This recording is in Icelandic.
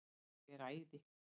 Ég er æði.